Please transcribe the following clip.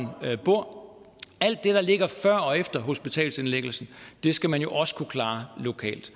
bor alt det der ligger før og efter hospitalsindlæggelsen skal man jo også kunne klare lokalt